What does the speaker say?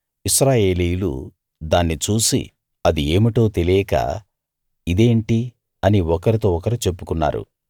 ఇశ్రాయేలీయులు దాన్ని చూసి అది ఏమిటో తెలియక ఇదేంటి అని ఒకరితో ఒకరు చెప్పుకున్నారు